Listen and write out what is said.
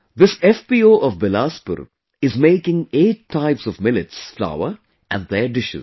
This FPO of Bilaspur is making 8 types of millets flour and their dishes